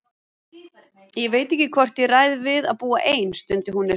Ég veit ekki hvort ég ræð við að búa ein, stundi hún upp.